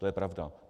To je pravda.